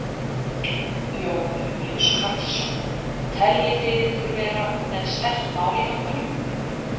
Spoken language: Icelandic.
Jón Júlíus Karlsson: Teljið þið ykkur vera með sterkt mál í höndunum?